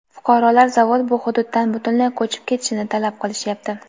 fuqarolar zavod bu hududdan butunlay ko‘chib ketishini talab qilishyapti.